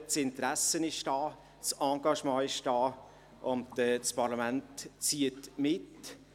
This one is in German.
Das Interesse ist da, das Engagement ist da, und das Parlament zieht mit.